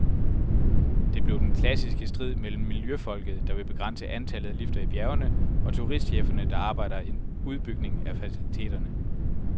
Det blev den klassiske strid mellem miljøfolket, der vil begrænse antallet af lifter i bjergene, og turistcheferne, der arbejder en udbygning af faciliteterne.